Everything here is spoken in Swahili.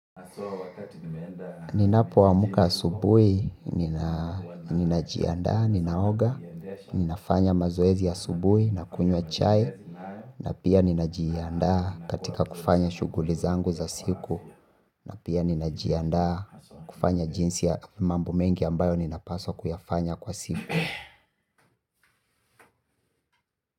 Ninapoamka asubuhi, ninajiandaa, ninaoga, ninafanya mazoezi ya asubuhi na kunywa chai. Na pia ninajiandaa katika kufanya shughuli zangu za siku. Na pia ninajiandaa kufanya jinsi ya mambo mengi ambayo ninapaswa kuyafanya kwa siku.